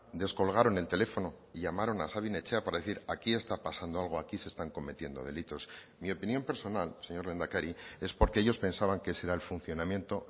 descolgaron el teléfono y llamaron a sabin etxea para decir aquí está pasando algo aquí se están cometiendo delitos mi opinión personal señor lehendakari es porque ellos pensaban que ese era el funcionamiento